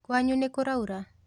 Kwanyu nĩkũraura?